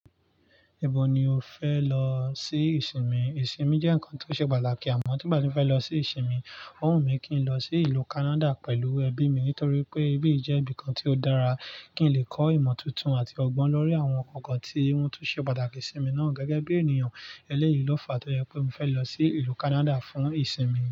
Ibo ni o fẹ lọ sí ìsinmi? Ìsinmi jẹ́ ǹkan tó ṣe pàtàkì àmọ́ tí mbà ti fẹ́ lọ sí ìsinmi, ó wù mí kí n lọ sí ìlú Canada pẹ̀lú ẹbí mi nítorí pé ibí jẹ́ ibìkan tí ó dára kí n lè kọ́ ìmọ̀ tuntun àti ọgbọ́n lórí àwọn ǹkan kan tí wọ́n tún ṣe pàtàkì sí mi náà gẹ́gẹ́ bí ènìyàn ẹlẹ́yìí lófa. Tó jẹ pé mi fẹ́ lọ sí ìlú Canada fún ìsinmi.